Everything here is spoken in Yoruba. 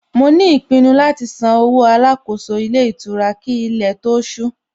Mo ní ìpinnu láti san owó Alákóso ilé ìtura kí ilé tó ó ṣú